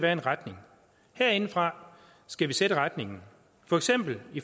er en retning herindefra skal vi sætte retningen for eksempel